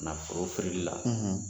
Nafolo feereli la